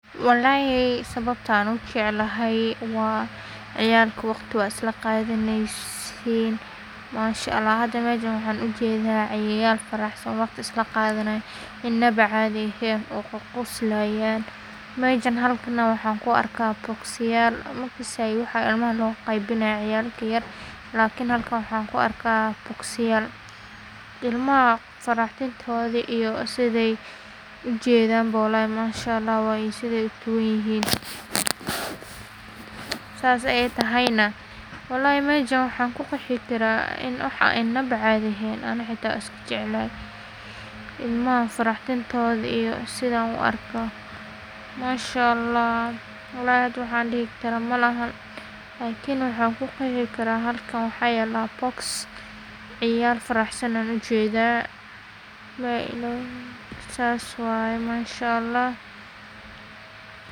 wallahi sababtan ujeclahay waa ciyalka waqti waa isla qaadaneysin masha Allah ila hada mejan waxan ujeeda ciyal faraxsan oo waqti isla qadanayan inaba caadi ehen oo qoqoslayan mejan waxan ku arka bokis yal, makasay waxa ilmaha loo qeybinay ciyalka yaryar lakin halkan waxan ku arka bokis yal, ilmaha faraxdintoodo iyo siday ujedan bo wallahi masha Allah waye siday utaban yihin, saas ay tahayna wallahi mejan waxan kuqeexi karaa in wax inaba caadi egeyn ani hata wan iska jeclahay, ilmahan farax dintooda iyo sidan u arko masha Allah, wallahi hada waxan dhihi karo malehan lakin waxan kuqeexi karaa halkan waxaa yala boks ciyal faraxsan an ujedaa, la illah sas waye masha Allah